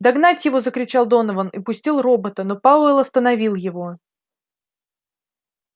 догнать его закричал донован и пустил робота но пауэлл остановил его